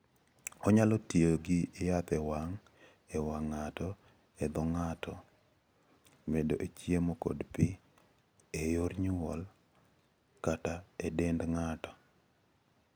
Onyalo ti gi yath e wang', e wang' ng'ato, e dho ng'ato (medo e chiemo kod pi), e yor nyulo, kata e dend ng'ato.